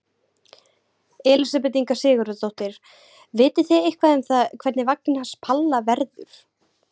Elísabet Inga Sigurðardóttir: Vitið þið eitthvað um það hvernig vagninn hans Palla verður?